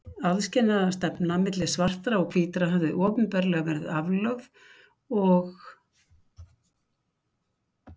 Aðskilnaðarstefnan milli svartra og hvítra hafði opinberlega verið aflögð og